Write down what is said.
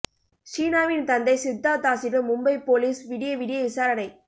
ஷீனாவின் தந்தை சித்தார்த் தாஸிடம் மும்பை போலீஸ் விடிய விடிய விசாரணை